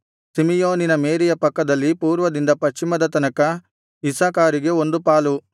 ಸಿಮೆಯೋನಿನ ಮೇರೆಯ ಪಕ್ಕದಲ್ಲಿ ಪೂರ್ವದಿಂದ ಪಶ್ಚಿಮದ ತನಕ ಇಸ್ಸಾಕಾರಿಗೆ ಒಂದು ಪಾಲು